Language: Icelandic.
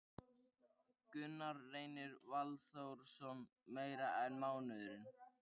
Gunnar Reynir Valþórsson: Meira en mánuður?